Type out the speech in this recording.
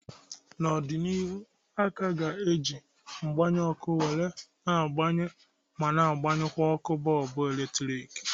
N'ọdịnihu, a ka ga eji mgba ọkụ were na agbaye ma na agbanyụkwa ọkụ bọlbụ eletrik